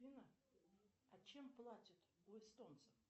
афина а чем платят у эстонцев